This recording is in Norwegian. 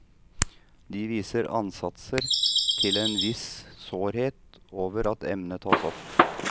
De viser ansatser til en viss sårhet over at emnet tas opp.